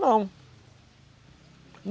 Não.